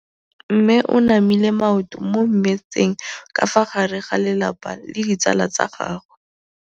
Mme o namile maoto mo mmetseng ka fa gare ga lelapa le ditsala tsa gagwe.